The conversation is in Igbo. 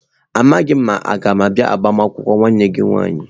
Amaghịkwa m ma mga abia agbamakwụkwọ nwanne gi nwanyi.